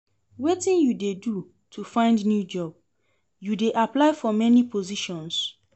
Wetin you dey do to find new job, you dey apply for many positions?